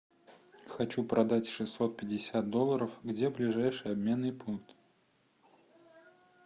хочу продать шестьсот пятьдесят долларов где ближайший обменный пункт